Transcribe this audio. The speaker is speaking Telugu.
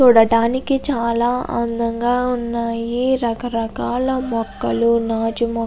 చూడడానికి చాల అందంగా ఉన్నాయి రకరకాల మొక్కలు నాచు మొక --